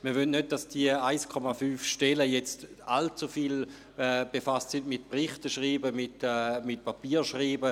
Wir wollen nicht, dass die 1,5 Stellen jetzt allzu viel mit dem Schreiben von Berichten und Papieren befasst sind.